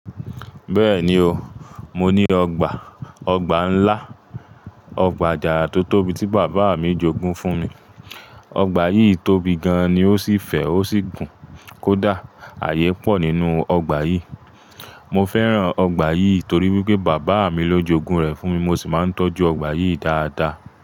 Bẹ́ẹ̀ni o, mo ní ọgbà, ọgbà ńlá, ọgbà àjàrà tó tóbi tí bàbá mi jogún fún mi. Ọgbà yìí tóbi gan an ni ó sì fẹ̀ ó sì gùn kódà ààyè pọ̀ nínú ọgbà yìí. Mo fẹ́ràn ọgbà yìí torí wípé bàbá mi ló jogún rẹ̀ fún mi, mo sì máa ń tọ́jú ọgbà yìí dáadáa.